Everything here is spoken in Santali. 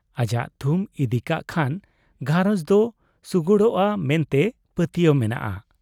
ᱟᱡᱟᱜ ᱛᱷᱩᱢ ᱤᱫᱤᱠᱟᱜ ᱠᱷᱟᱱ ᱜᱷᱟᱨᱚᱸᱡᱽ ᱫᱚ ᱥᱩᱜᱩᱲᱚᱜ ᱟ ᱢᱮᱱᱛᱮ ᱯᱟᱹᱛᱭᱟᱹᱣ ᱢᱮᱱᱟᱜᱼᱟ ᱾